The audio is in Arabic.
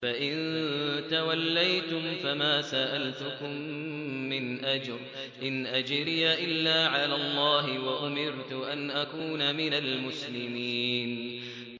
فَإِن تَوَلَّيْتُمْ فَمَا سَأَلْتُكُم مِّنْ أَجْرٍ ۖ إِنْ أَجْرِيَ إِلَّا عَلَى اللَّهِ ۖ وَأُمِرْتُ أَنْ أَكُونَ مِنَ الْمُسْلِمِينَ